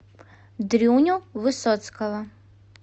дрюню высоцкого